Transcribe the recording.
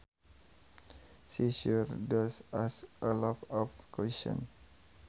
She sure does ask a lot of questions